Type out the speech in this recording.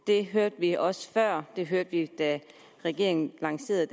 det hørte vi også før det hørte vi da regeringen lancerede